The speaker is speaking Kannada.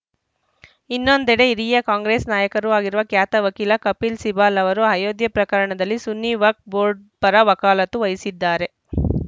ಇನ್ನೊಂದೆಡೆ ಹಿರಿಯ ಕಾಂಗ್ರೆಸ್‌ ನಾಯಕರೂ ಆಗಿರುವ ಖ್ಯಾತ ವಕೀಲ ಕಪಿಲ್‌ ಸಿಬಲ್‌ ಅವರು ಅಯೋಧ್ಯೆ ಪ್ರಕರಣದಲ್ಲಿ ಸುನ್ನಿ ವಕ್ ಬೋರ್ಡ್‌ ಪರ ವಕಾಲತ್ತು ವಹಿಸಿದ್ದಾರೆ